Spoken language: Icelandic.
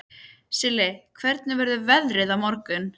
Silli, hvernig verður veðrið á morgun?